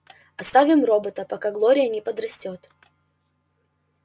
оставим робота пока глория не подрастёт